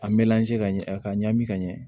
A mɔnze ka ɲɛ a ka ɲami ka ɲɛ